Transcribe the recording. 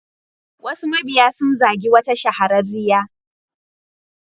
Wasu mabiya sun zagi wata shahararriyar.